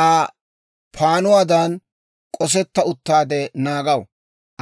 Aa paannuwaadan k'osetta uttaade naagaw;